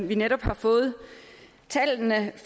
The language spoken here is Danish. vi netop har fået tallene